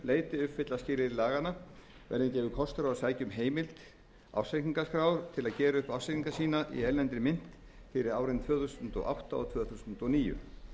leyti uppfylla skilyrði laganna verði gefinn kostur á að sækja um heimild ársreikningaskrár til að gera upp ársreikninga sína í erlendri mynt fyrir árin tvö þúsund og átta og tvö þúsund og níu